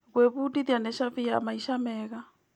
Gwĩbundithia nĩ cabi ya maica mega.